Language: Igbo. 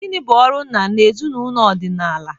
Gịnị bụ ọrụ nna na ezinụlọ ọdịnala?